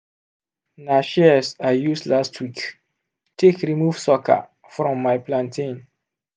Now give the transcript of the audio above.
na shears i use last week take remove sucker from my plantain.